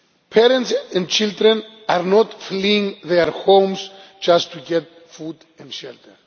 Parents and children are not fleeing their homes just to get food and shelter.